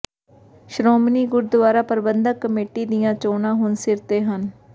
Shiromani Gurdwara Parbandhak Committee ਦੀਆਂ ਚੋਣਾਂ ਹੁਣ ਸਿਰ ਤੇ ਹਨ